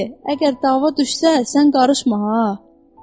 Lenny, əgər dava düşsə, sən qarışma ha.